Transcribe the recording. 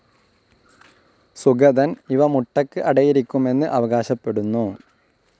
സുഗതൻ ഇവ മുട്ടയ്ക്ക് അടയിരിക്കുമെന്ന് അവകാശപ്പെടുന്നു.